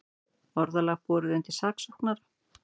Orðalag borið undir saksóknara